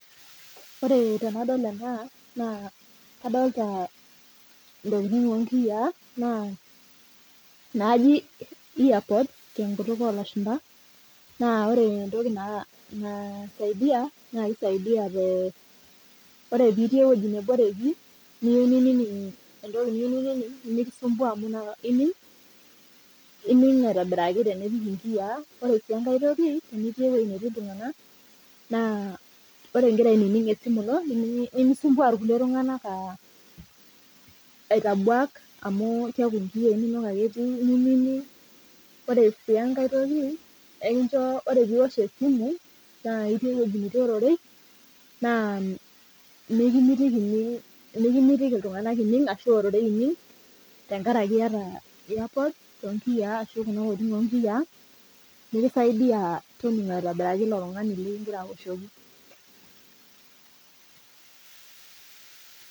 Wore tenadol ena, naa kadoolta intokitin oonkiyia naaji earpods tenkutuk oolashumba, naa wore entoki naisaidia naa kisaidia te, wore pee itii ewoji neboreki niyieu ninining entoki niyieu ninining, mikisumpua amu inakata ining aitobiraki tenipik inkiyia. Wore sii enkae toki, tenitii ewoji natii iltunganak, naa wore ikira ainining esimu ino, nimisumbua irkulie tunganak aitabuak amu keeku inkiyia inonok ake etii ninining. Wore si enkae toki, ekincho wore pee iosh esimu naa itii ewoji natii olorei, naa mikimitiki iltunganak ining arashu ororei tenkaraki iata earpods toonkiyia arashu kuna tokitin oonkiyia, nikisaidia toningo aitobiraki ilo tungani likikita aoshoki.